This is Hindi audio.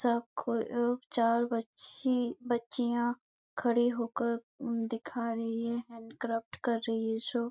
सबको अ चार बच्चे बच्चियां खड़े हो कर दिखा रही है हैण्ड क्राफ्ट कर रही है शो --